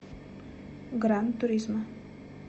гран туризмо